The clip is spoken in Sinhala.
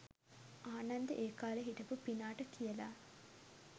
ආනන්දෙ ඒකාලෙ හිටපු පිනාට කියලා